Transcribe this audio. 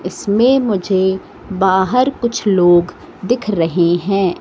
इसमें मुझे बाहर कुछ लोग दिख रहे हैं।